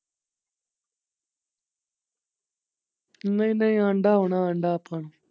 ਨਹੀਂ ਨਹੀਂ ਆਉਂਦਾ ਹੁਣਾ ਆਉਂਦਾ ਤਾਂ।